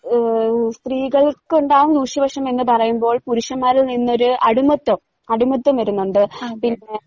ആഹ് സ്ത്രീകൾക്ക്ണ്ടാവുന്ന ദൂഷ്യവശം എന്ന് പറയുമ്പോൾ പുരുഷന്മാരിൽ നിന്നൊര് അടിമത്വം അടിമത്വം വരുന്നൊണ്ട് പിന്നെ